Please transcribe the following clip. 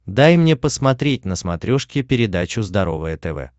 дай мне посмотреть на смотрешке передачу здоровое тв